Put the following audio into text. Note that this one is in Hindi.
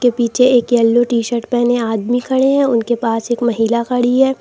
पीछे एक येलो टी शर्ट पेहने आदमी खड़े हैं उनके पास एक महिला खड़ी है।